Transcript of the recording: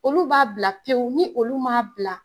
Olu b'a bila pewu, ni olu m'a bila